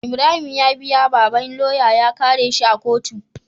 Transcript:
Ibrahim ya biya babban loya ya kare shi a kotu